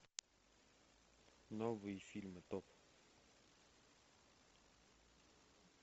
новые фильмы топ